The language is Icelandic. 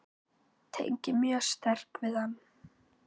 Tengi mjög sterkt við hann.